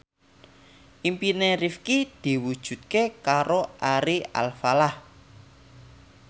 impine Rifqi diwujudke karo Ari Alfalah